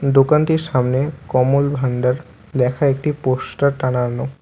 দোকানটির সামনে কমল ভান্ডার লেখা একটি পোস্টার টানানো ।